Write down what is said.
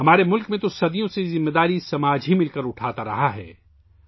ہمارے ملک میں صدیوں سے یہ ذمہ داری معاشرے نے مل کر اٹھائی ہے